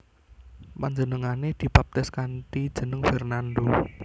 Panjenengané dibaptis kanthi jeneng Fernando